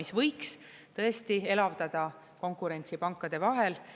See võiks tõesti elavdada konkurentsi pankade vahel.